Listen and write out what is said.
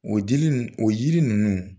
O dili o yiri ninnu